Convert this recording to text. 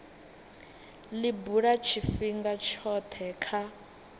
li bula tshifhinga tshothe kha